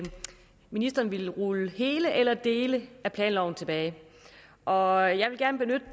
ministeren ville rulle hele eller dele af planloven tilbage og jeg vil gerne